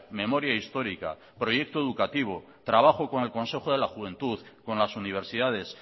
memoria histórica proyecto educativo trabajo con el consejo de la juventud con las universidades